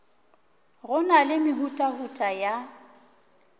go na le mehutahuta ya